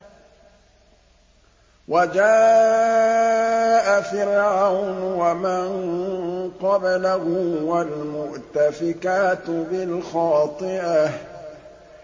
وَجَاءَ فِرْعَوْنُ وَمَن قَبْلَهُ وَالْمُؤْتَفِكَاتُ بِالْخَاطِئَةِ